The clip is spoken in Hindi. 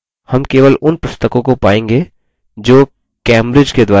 हम केवल उन पुस्तकों को पायेंगे जो cambridge के द्वारा प्रकाशित हुई हैं